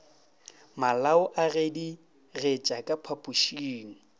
malao a gedigetša ka phapošeng